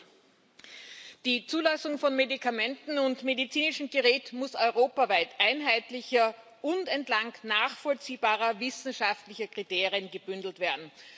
Herr Präsident! Die Zulassung von Medikamenten und medizinischem Gerät muss europaweit einheitlicher und entlang nachvollziehbarer wissenschaftlicher Kriterien gebündelt werden.